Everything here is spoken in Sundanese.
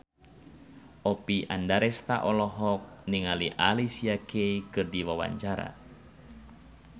Oppie Andaresta olohok ningali Alicia Keys keur diwawancara